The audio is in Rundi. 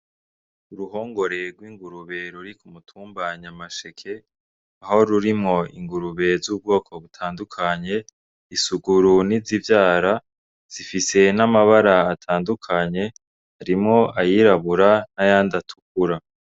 Uruhongore rw'ingurube ruri ku mutumba Nyamaseke, aho rurimwo ingurube z'ubwoko butandukanye, isuguru n'izivyara. Zifise n'amabara atandukanye harimwo ayirabura n'ayandi atukura.